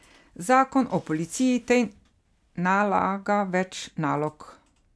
Zakon o policiji tej nalaga več nalog.